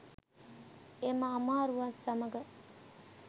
එම අමාරුවත් සමග